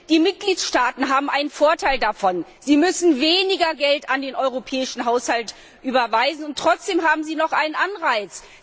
Die Mitgliedstaaten haben einen Vorteil davon Sie müssen weniger Geld an den europäischen Haushalt überweisen, und trotzdem haben sie noch einen Anreiz.